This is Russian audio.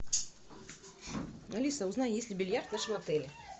алиса узнай есть ли бильярд в нашем отеле